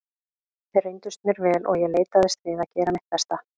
Þeir reyndust mér vel og ég leitaðist við að gera mitt besta.